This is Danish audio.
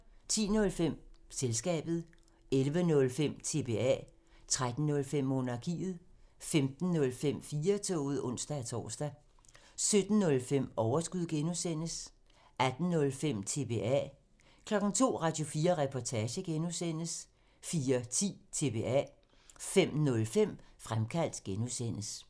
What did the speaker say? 10:05: Selskabet 11:05: TBA 13:05: Monarkiet 15:05: 4-toget (ons-tor) 17:05: Overskud (G) 18:05: TBA 02:00: Radio4 Reportage (G) 04:10: TBA 05:05: Fremkaldt (G)